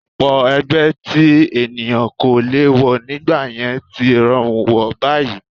Ọ̀pọ̀ ẹgbẹ́ tí ènìyàn kò lè wọ̀ nígbà yẹn tí rọrùn wọ̀ báyìí